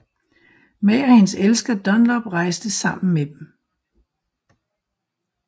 Ma og hendes elsker Dunlop rejste sammen med dem